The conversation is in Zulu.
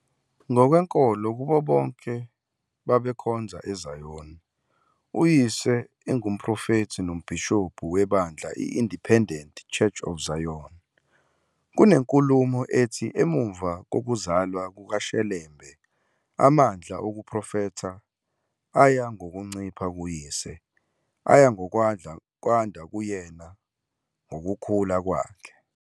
Ngokwenkolo kubo babekhonza eZayoni, uyise engumprofethi nombhishobhu webandla "i-Independent Church of Zion". Kunenkulumo ethi emumva kokuzalwa kukaShelembe amandla okuprofetha aya ngokuncipha kuyise, aya ngokwanda kuyena ngokukhula kwakhe.